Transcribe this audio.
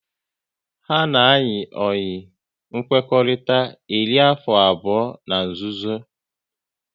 Ha na ayi oyi nkwekọrịta eri afọ abụọ n'nzuzo